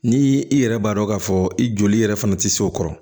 Ni i yɛrɛ b'a dɔn k'a fɔ i joli yɛrɛ fana tɛ se o kɔrɔ